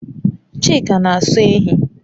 Chika n'aso ehi